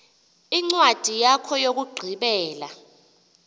incwadi yakho yokugqibela